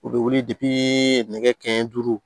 U bɛ wuli nɛgɛ kanɲɛ duuru